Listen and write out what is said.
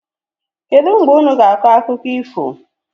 Kedụ mgbe unu ga-akọ akụkọ ifo?